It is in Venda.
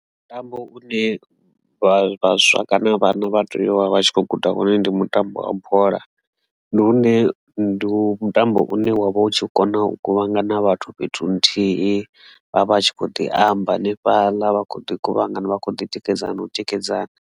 Mutambo une vhaswa kana vhana vha tea u vha vha tshi khou guda wone ndi mutambo wa bola ndi hune ndi mutambo une wa vha u tshi kona u kuvhangana vhathu fhethu nthihi vha vha tshi kho ḓi amba hanefhaḽa vha kho ḓi guvhangano vha kho ḓi tikedzana na u tikedzana.